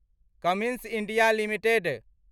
Cummins India limited